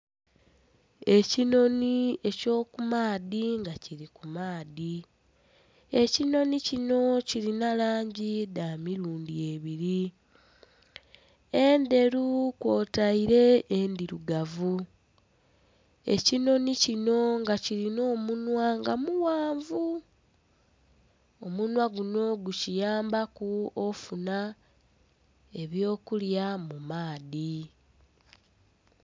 Ekinhonhi eky'okumaadhi nga kili ku maadhi. Ekinhonhi kino kilina langi dha milundhi ebiri, endheru kwotaire endhirugavu. Ekinhonhi kino nga kilinha omunhwa nga mughanvu, omunhwa guno gukiyambaku ofuna eby'okulya mu maadhi.